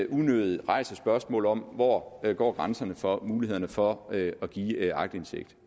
unødig rejser spørgsmålet om hvor hvor grænserne for mulighederne for at give aktindsigt